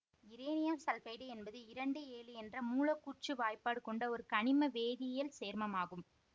இரேனியம் sulphide என்பது இரண்டு ஏழு என்ற மூலக்கூற்று வாய்ப்பாடு கொண்ட ஒரு கனிம வேதியியல் சேர்மமாகும்